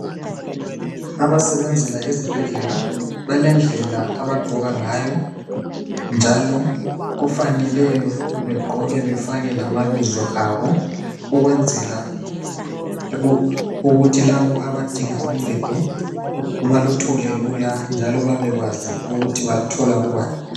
Abasebenzela izibhedlela balendlela abagqoka ngayo njalo kufanele begqoke befake lamabizo abo ukwenzela ukuthi labo abadinga uncedo baluthole lula njalo babekwazi ukuthi baluthola kubani.